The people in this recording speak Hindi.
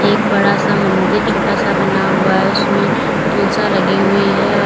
एक बड़ा सा मंदिर छोटा सा बना हुआ है उसमें तुलसा लगी हुई है और--